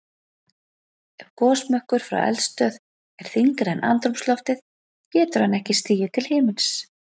Ef gosmökkur frá eldstöð er þyngri en andrúmsloftið getur hann ekki stigið til himins.